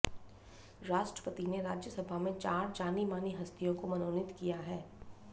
राष्ट्रपति ने राज्यसभा में चार जानीमानी हस्तियों को मनोनीत किया है